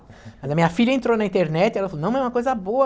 Mas a minha filha entrou na internet, ela falou, não mãe, é uma coisa boa.